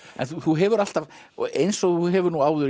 þú hefur alltaf eins og þú hefur áður